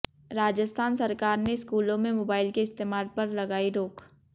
राजस्थान सरकार ने स्कूलों में मोबाइल के इस्तेमाल पर लगाई रोक